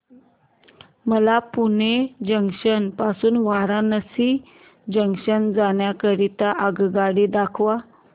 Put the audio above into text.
मला पुणे जंक्शन पासून वाराणसी जंक्शन जाण्या करीता आगगाडी दाखवा